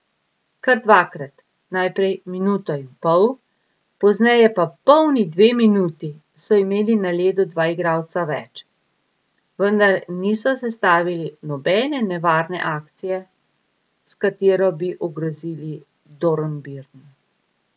Kar dvakrat, najprej minuto in pol, pozneje pa polni dve minuti, so imeli na ledu dva igralca več, vendar niso sestavili nobene nevarne akcije, s katero bi ogrozili Dornbirn.